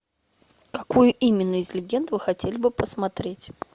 какую именно из легенд вы хотели бы посмотреть